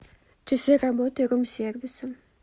часы работы рум сервиса